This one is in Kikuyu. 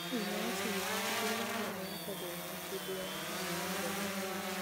wĩ mwega siri tigĩrĩra karenda yakwa ndĩrĩ na kĩndũ o na hanini mũthenya wa rũciũ